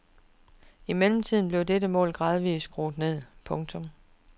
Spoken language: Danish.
I mellemtiden blev dette mål gradvist skruet ned. punktum